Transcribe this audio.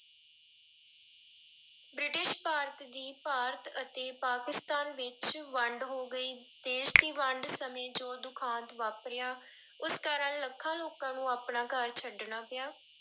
British Bharat ਦੀ ਭਾਰਤ ਅਤੇ ਪਾਕਿਸਤਾਨ ਵਿੱਚ ਵੰਡ ਹੋ ਗਈ, ਦੇਸ ਦੀ ਵੰਡ ਸਮੇਂ ਜੋ ਦੁਖਾਂਤ ਵਾਪਰਿਆ ਉਸ ਕਾਰਨ ਲੱਖਾਂ ਲੋਕਾਂ ਨੂੰ ਆਪਣਾ ਘਰ ਛੱਡਣਾ ਪਿਆ।